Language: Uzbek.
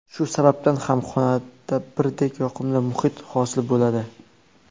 Shu sababdan ham xonada birdek yoqimli muhit hosil bo‘ladi.